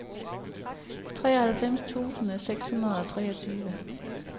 treoghalvfjerds tusind seks hundrede og treogtyve